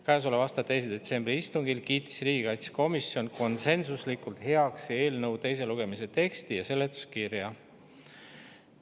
Käesoleva aasta 2. detsembri istungil kiitis riigikaitsekomisjon konsensuslikult heaks eelnõu teise lugemise teksti ja seletuskirja.